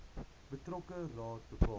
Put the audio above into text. betrokke raad bepaal